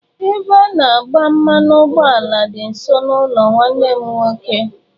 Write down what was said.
Ebe a na agba mmanụ ụgbọala dị nso n'ụlọ nwanne m nwoke.